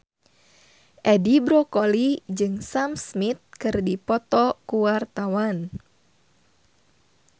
Edi Brokoli jeung Sam Smith keur dipoto ku wartawan